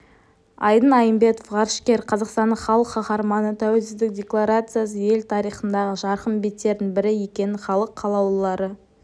айдын айымбетов ғарышкер қазақстанның халық қаһарманы тәуелсіздік декларациясы ел тарихындағы жарқын беттердің бірі екенін халық қалаулылары